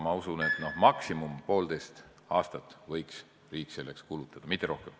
Ma usun, et kõige rohkem poolteist aastat võiks riik selleks kulutada, mitte rohkem.